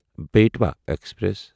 Betwa express